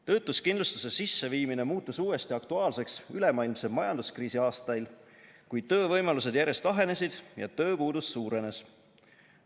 Töötuskindlustuse sisseviimine muutus uuesti aktuaalseks ülemaailmse majanduskriisi aastail, kui töövõimalused järjest ahenesid ja tööpuudus suurenes.